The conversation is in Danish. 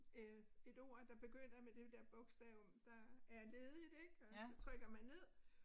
Øh et ord der begynder med det dér bogstav der er ledigt ik og så trykker man ned